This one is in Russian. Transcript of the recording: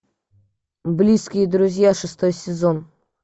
близкие друзья шестой сезон